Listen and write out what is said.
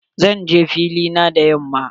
Zan je fili na da yamma.